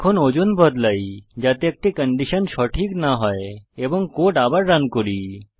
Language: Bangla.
এখন ওজন বদলাই যাতে একটি কন্ডিশন সঠিক না হয় এবং কোড আবার রান করি